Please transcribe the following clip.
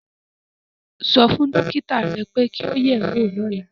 Sọ fún dókítà rẹ pé kí o yẹ̀ ẹ́ wò lọ́la